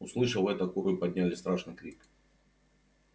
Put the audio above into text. услышав это куры подняли страшный крик